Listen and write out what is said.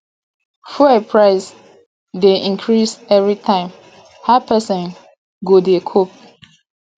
fuel price dey increase everytime how pesin go dey cope